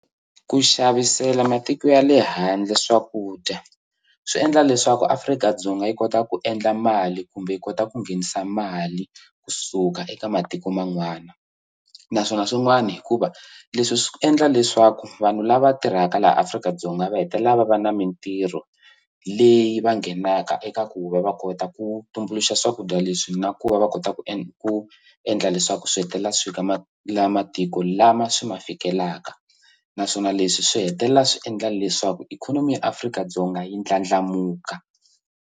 Ku xavisela matiko ya le handle swakudya swi endla leswaku Afrika-Dzonga yi kota ku endla mali kumbe yi kota ku nghenisa mali kusuka eka matiko man'wana naswona swin'wani hikuva leswi swi endla leswaku vanhu lava tirhaka laha Afrika-Dzonga va hetelela va va na mintirho leyi va nghenaka eka ku va va kota ku tumbuluxa swakudya leswi na ku va va kota ku ku endla leswaku swi hetelela swi ka ma la matiku lama swi ma fikelaka naswona leswi swi hetelela swi endla leswaku ikhonomi ya Afrika-Dzonga yi ndlandlamuka.